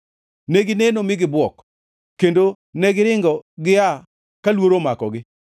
negineno mi gibuok; kendo negiringo gia ka luoro omakogi.